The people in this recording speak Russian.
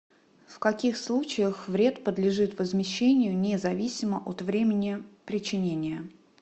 в каких случаях вред подлежит возмещению независимо от времени причинения